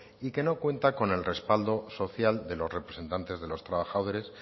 y que no cuenta con el respaldo social de los representantes de los trabajadores